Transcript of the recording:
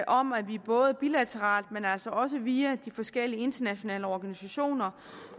om at vi både bilateralt men altså også via de forskellige internationale organisationer